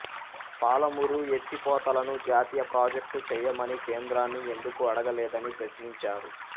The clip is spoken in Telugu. పాలమూరు ఎత్తిపోతలను జాతీయ ప్రాజెక్టు చేయమని కేంద్రాన్ని ఎందుకు అడగలేదని ప్రశ్నించారు